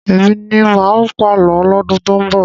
Èmi ni máà pàlọ́ lọ́dún tó ń bọ̀.